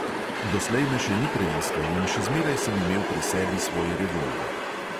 Doslej me še ni preiskal in še zmeraj sem imel pri sebi svoj revolver.